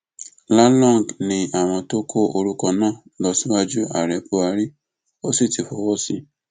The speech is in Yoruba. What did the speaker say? lalong ni àwọn ti kó orúkọ náà lọ síwájú ààrẹ buhari ó sì ti fọwọ sí i